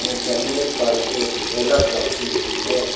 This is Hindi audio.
ये जमीन पर एक ढोलक रखी हुई है।